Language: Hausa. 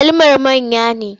Agwalumar manya ne?